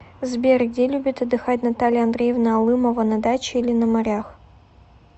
сбер где любит отдыхать наталья андреевна алымова на даче или на морях